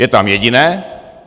Je tam jediné.